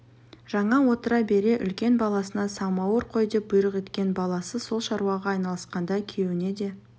жаңа отыра бере үлкен баласына самауыр қой деп бұйрық еткен баласы сол шаруаға айналысқанда күйеуіне де